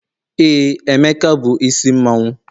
ee, emeka bu isi mmanwu